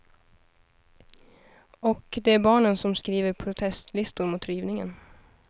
Och det är barnen som skriver protestlistor mot rivningen.